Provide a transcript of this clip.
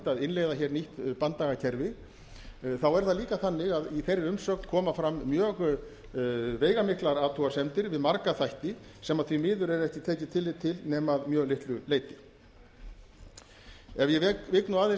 að innleiða hér nýtt banndagakerfi þá er það líka þannig að í þeirri umsögn koma fram mjög veigamiklar athugasemdir við marga þætti sem því miður er ekki tekið tillit til nema að mjög litlu leyti ef ég vík svona aðeins